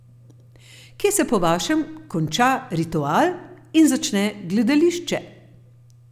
Kje se po vašem konča ritual in začne gledališče?